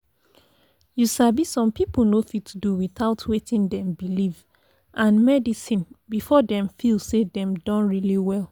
you sabi some people no fit do without wetin dem belief and medicine before dem feel say dem don really well.